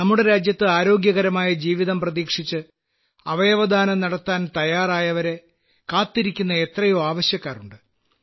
നമ്മുടെ രാജ്യത്ത് ആരോഗ്യകരമായ ജീവിതം പ്രതീക്ഷിച്ച് അവയവദാനം നടത്താൻ തയ്യാറായവരെ കാത്തിരിക്കുന്ന എത്രയോ ആവശ്യക്കാർ ഉണ്ട്